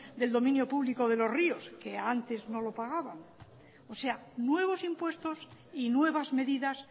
del dominio público de los ríos que antes no lo pagaban o sea nuevos impuestos y nuevas medidas